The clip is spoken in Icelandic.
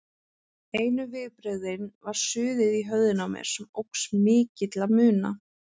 Einu viðbrögðin var suðið í höfðinu á mér, sem óx til mikilla muna.